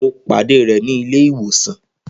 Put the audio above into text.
Mo pàdé rẹ̀ ní ilé ìwòsàn.